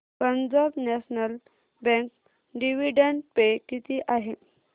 Punjab National Bank dividend pay किती आहे